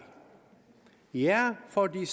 ja fordi